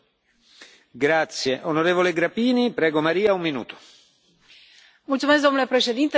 Mulțumesc, domnule președinte, doamna comisar, dragi colegi, cred că nimeni nu mai pune la îndoială importanța acestui raport.